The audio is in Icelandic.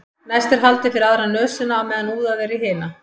næst er haldið fyrir aðra nösina á meðan úðað er í hina